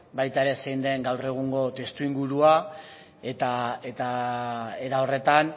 baita ere zein den gaur egungo testuingurua eta era horretan